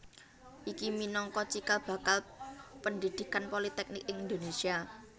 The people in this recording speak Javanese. Iki minangka cikal bakal pendhidhikan politeknik ing Indonésia